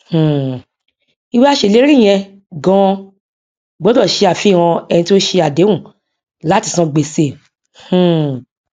um ìwé aṣèlérí yẹn ganan gbọdọ ṣe àfihàn ẹni tí ó ṣe àdéhùn láti san gbèsè um